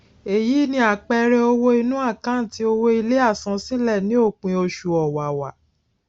eyi ni àpẹẹrẹ owó inú àkántì owó ilé àsansílẹ ní òpin oṣù ọwàwà